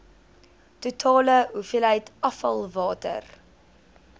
totale hoeveelheid afvalwater